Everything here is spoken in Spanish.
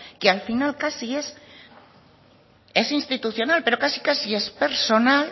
que al final casi es institucional pero casi casi es personal